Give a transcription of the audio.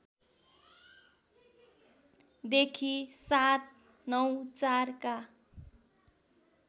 देखि ७९४ का